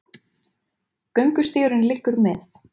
Göngustígurinn liggur með